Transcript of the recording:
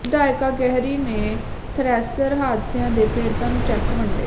ਵਿਧਾਇਕਾ ਗਹਿਰੀ ਨੇ ਥਰੈਸ਼ਰ ਹਾਦਸਿਆਂ ਦੇ ਪੀੜਤਾਂ ਨੂੰ ਚੈੱਕ ਵੰਡੇ